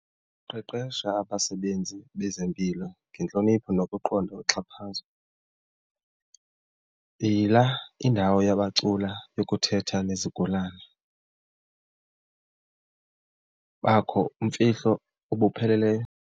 Qeqesha abasebenzi bezempilo ngentlonipho nokuqonda uxhaphazo, yila indawo yabacula yokuthetha nezigulana, bakho imfihlo obupheleleyo.